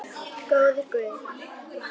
Góður guð.